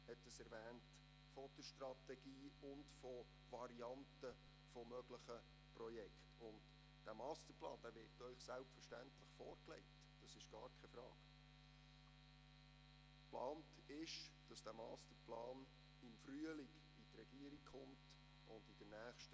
Wie will man mit den neuen Sicherheitsanforderungen, die sich dort stellen, zu denen auch die Kinderbetreuung gehört, umgehen?